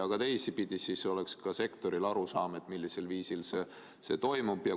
Ja teistpidi oleks siis ka sektoril arusaam, millisel viisil see toimub.